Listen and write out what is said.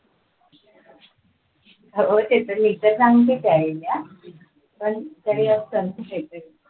हो ते तर चांगलीच पण काही असेल